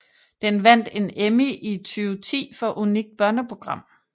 Den vandt en Emmy i 2010 for unikt børneprogram